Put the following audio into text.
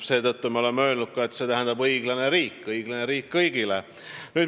Seetõttu me oleme öelnud ka, et meie eesmärk on õiglane riik kõigile.